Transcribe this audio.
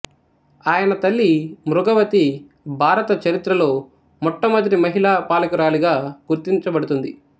ఆయన తల్లి మృగవతి భారత చరిత్రలో మొట్టమొదటి మహిళా పాలకురాలిగా గుర్తించబడుతుంది